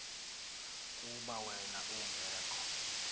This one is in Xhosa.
kuba wen ungekho